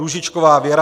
Růžičková Věra